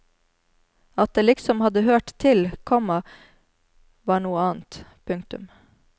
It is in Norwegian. At det liksom hadde hørt til, komma var noe annet. punktum